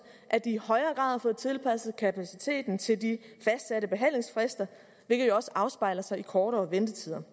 at de i højere har fået tilpasset kapaciteten til de fastsatte behandlingsfrister hvilket jo også afspejler sig i kortere ventetider